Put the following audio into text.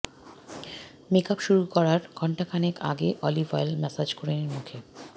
make up শুরু করার ঘণ্টা খানেক আগে অলিভ অয়েল মাসাজ করে নিন মুখে